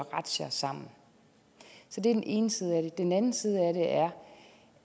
razziaer sammen så det er den ene side af det den anden side af det er